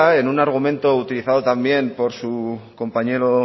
en un argumento utilizado también por su compañero